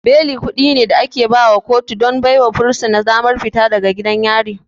Beli kuɗi ne da ake baiwa kotu don baiwa fursuna damar fita daga gidan yari.